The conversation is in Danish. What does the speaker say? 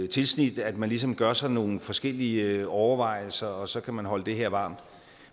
tilsnit at man ligesom gør sig nogle forskellige overvejelser og så kan man holde det her varmt